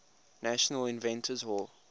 national inventors hall